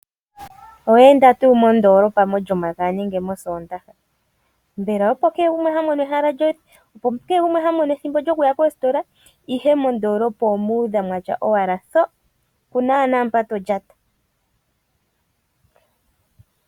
Olyomakaya nosoondaha ogo omasiku ngoka aantu haamono ethimbo lyokuya mondoolopa, nuuna ngele owayi mondoolopa momasiku mono oho adha ositola dhuudha aantu kwatya owala ndo.!